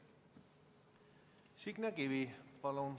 Signe Kivi, palun!